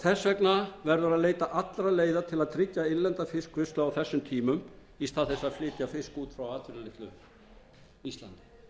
þess vegna verður að leita allra leiða til að tryggja innlenda fiskvinnslu á þessum tímum í stað þess að flytja fisk út frá atvinnulausu íslandi